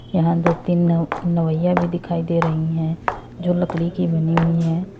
यहां दो तीन नव नवैया भी दिखाई दे रही हैं जो लकड़ी की बनी हुई हैं।